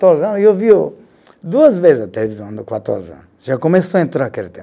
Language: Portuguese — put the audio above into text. eu vi o duas vezes a televisão no já começou a entrar aquele tempo